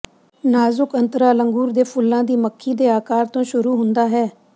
ਨਾਜ਼ੁਕ ਅੰਤਰਾਲ ਅੰਗੂਰ ਦੇ ਫੁੱਲਾਂ ਦੀ ਮੱਖੀ ਦੇ ਆਕਾਰ ਤੋਂ ਸ਼ੁਰੂ ਹੁੰਦਾ ਹੈ